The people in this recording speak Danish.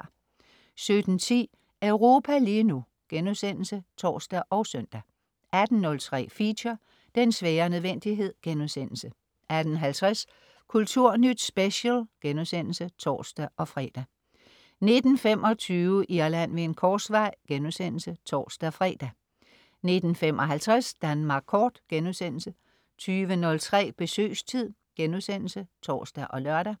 17.10 Europa lige nu* (tors og søn) 18.03 Feature: Den svære nødvendighed* 18.50 Kulturnyt Special* (tors-fre) 19.25 Irland ved en korsvej* (tors-fre) 19.55 Danmark Kort* 20.03 Besøgstid* (tors og lør)